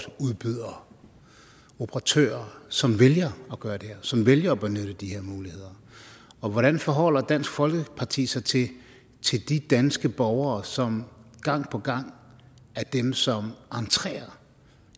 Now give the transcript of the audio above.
operatører som vælger at gøre det her som vælger at benytte de her muligheder hvordan forholder dansk folkeparti sig til de danske borgere som gang på gang er dem som entrerer